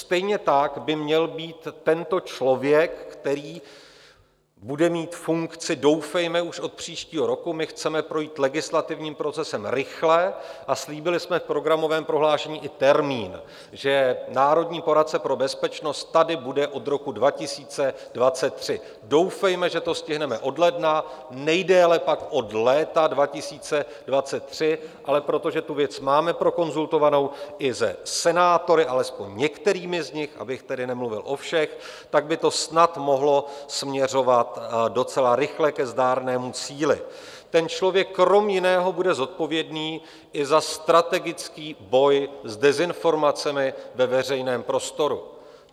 Stejně tak by měl být tento člověk, který bude mít funkci doufejme už od příštího roku - my chceme projít legislativním procesem rychle a slíbili jsme v programovém prohlášení i termín, že národní poradce pro bezpečnost tady bude od roku 2023, doufejme, že to stihneme od ledna, nejdéle pak od léta 2023, ale protože tu věc máme prokonzultovanou i se senátory, alespoň některými z nich, abych tedy nemluvil o všech, tak by to snad mohlo směřovat docela rychle ke zdárnému cíli - ten člověk kromě jiného bude zodpovědný i za strategický boj s dezinformacemi ve veřejném prostoru.